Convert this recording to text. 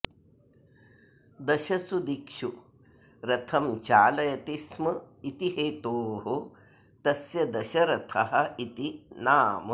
दशसु दिक्षु रथं चालयति स्म इति हेतोः तस्य दशरथः इति नाम